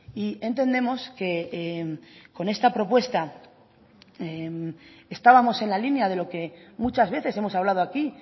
y entendemos que con esta propuesta estábamos en la línea de lo que muchas veces hemos hablado aquí